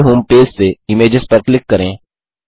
Google home page से images पर click करें